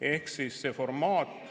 Ehk siis see formaat ...